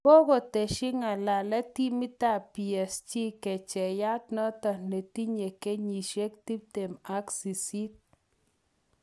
Kokoteshi ng'alalet timitap Psg,kecheyat notok netinye kenyishet tiptemak sisit